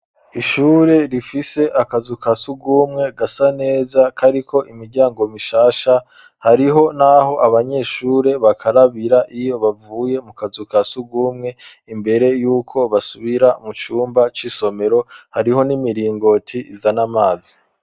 Ishure rifise akazu kasugumwe gasa neza kariko imiryango mishasha hariho naho abanyeshure bakarabira iyo bavuye mu kazu kasugumwe imbere yuko basubira mu cumba c'isomero hariho n'imiringoti izana amazi